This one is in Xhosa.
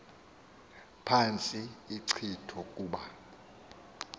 phantsi inkcitho kuba